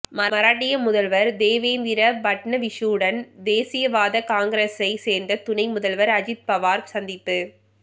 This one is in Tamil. மராட்டிய முதல்வர் தேவேந்திர பட்னவிஸுடன் தேசியவாத காங்கிரேசை சேர்ந்த துணை முதல்வர் அஜித் பவார் சந்திப்பு